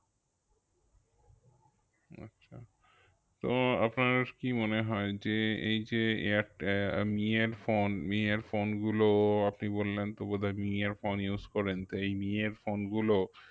তো আপনার কি মনে হয় যে এই যে এয়ারটে~ আহ আহ মি এর phone মি এর phone গুলো আপনি বললেন তো বোধয় মি এর phone use করেন, তো এই মি এর phone গুলো